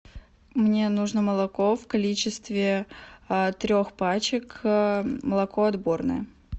мне нужно молоко в количестве трех пачек молоко отборное